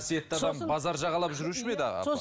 адам базар жағалап жүруші ме еді апа